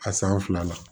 A san fila la